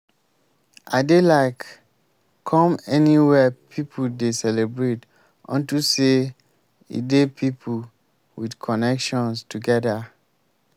i dey like come anywhere people dey celebrate unto say e dey people with connections together